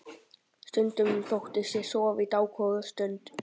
Stundum þóttist ég sofa í dágóða stund.